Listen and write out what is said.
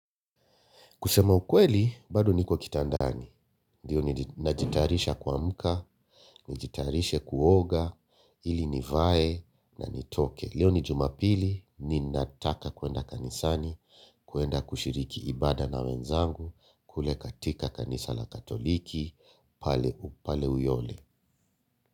Kusema ukweli, bado niko kitandani. Ndiyo ninajitayarisha kuamka, nijitayarishe kuoga, ili nivae na nitoke. Leo ni Jumapili, ninataka kuenda kanisani, kuenda kushiriki ibada na wenzangu, kule katika kanisa la katoliki, pale uyole.